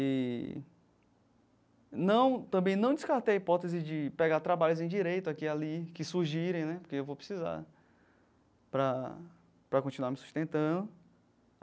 E... Não, também não descartei a hipótese de pegar trabalhos em direito aqui e ali, que surgirem, né, porque eu vou precisar para para continuar me sustentando.